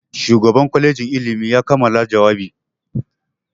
Shugan kwalejin ilimi ya kammala jawabi.